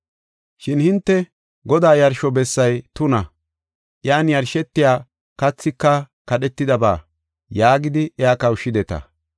“Shin hinte, ‘Godaa yarsho bessay tuna; iyan yarshetiya kathika kadhetidaba’ yaagidi iya kawushshideta.